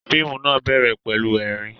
Fíìmù náà bẹ̀rẹ̀ pẹ̀lú ẹ̀rín